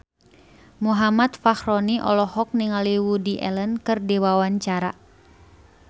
Muhammad Fachroni olohok ningali Woody Allen keur diwawancara